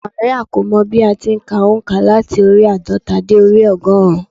Máríà kò mọ bí a ti n ka ònkà láti orí i àádọ́ta dé orí i ọgọ́rùn-ún